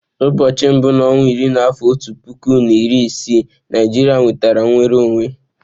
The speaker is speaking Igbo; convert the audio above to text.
Ụbọọchi mbu na onwa iri n'afọ otu puku na iri isii, Naijiria nwetara nnwere onwe.